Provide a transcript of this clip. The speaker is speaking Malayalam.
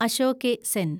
അശോകെ സെൻ